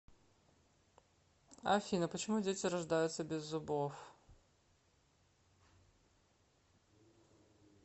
афина почему дети рождаются без зубов